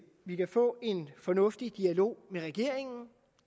vi kan få en fornuftig dialog med regeringen